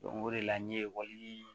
o de la ne ye ekɔli